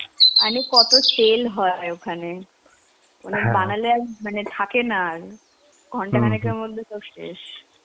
মানে কত sell হয় ওখানে. ওনার বানালে আর~ মানে থাকে না আর. ঘণ্টাখানেকের মধ্যে সব শেষ.